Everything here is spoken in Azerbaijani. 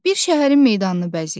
Bir şəhərin meydanını bəzəyir.